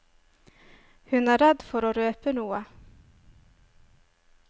Hun er redd for å røpe noe.